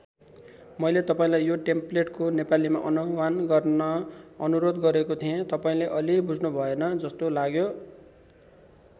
मैले तपाईँलाई यो टेम्प्लेटको नेपालीमा अनुवान गर्न अनुरोध गरेको थिएँ तपाईँले अलि बुझ्नुभएन जस्तो लाग्यो।